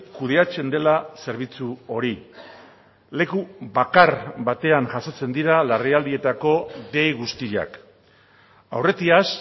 kudeatzen dela zerbitzu hori leku bakar batean jasotzen dira larrialdietako dei guztiak aurretiaz